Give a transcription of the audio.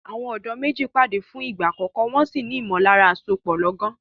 Àwọn ọ̀dọ́ méjì pàdé fún ìgbà àkọ́kọ́, wọn sì ní ìmọ̀lára àsopọ̀ lọ́gán.